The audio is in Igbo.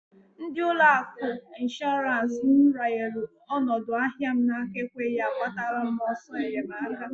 Ndi ụlọ akụ Ishorance m ranyelu onodu ahịa m n'aka ekweghi agbatara m oso enyemaka.